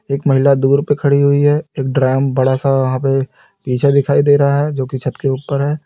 एक महिला दूर पे खड़ी हुई है एक ड्राम बड़ा सा वहां पे पीछे दिखाई दे रहा है जोकि छत के ऊपर है।